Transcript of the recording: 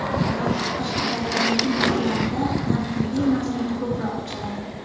Biroq Qashqadaryodagi nutqlarida tanqidiy mazmun ko‘proq uchradi.